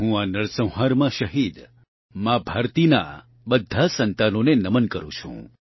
હું આ નરસંહારમાં શહીદ મા ભારતીનાં બધા સંતાનોને નમન કરૂં છું